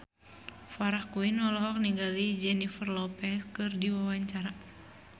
Farah Quinn olohok ningali Jennifer Lopez keur diwawancara